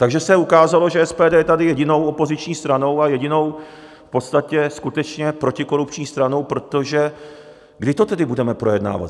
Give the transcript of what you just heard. Takže se ukázalo, že SPD je tady jedinou opoziční stranou a jedinou v podstatě skutečně protikorupční stranou, protože kdy to tedy budeme projednávat?